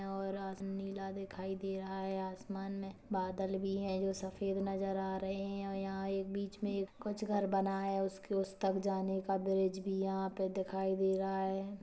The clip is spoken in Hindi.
और आसन नीला दिखाई दे रहा है आसमान में बादल भी है जो सफेद नजर आ रहे हैं और यहा एक बीच में कुछ घर बना है उसके उस तक जाने का ब्रिज भी है यहा पर दिखाई दे रहा है।